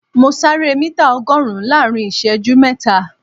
Mo sáré mítà ọgọ́rùn-ún láàrin ìṣẹ́jú mẹ́ta